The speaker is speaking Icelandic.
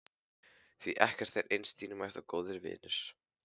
Því ekkert er eins dýrmætt og góðir vinir.